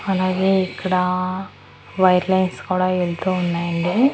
అలాగే ఇక్కడా white lines కూడా వెళ్తూ ఉన్నాయండి.